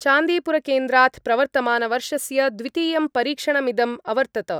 चान्दीपुरकेन्द्रात् प्रवर्तमानवर्षस्य द्वितीयं परीक्षणमिदम् अवर्तत।